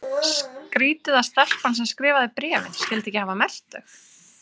Skrítið að stelpan sem skrifaði bréfin skyldi ekki hafa merkt þau.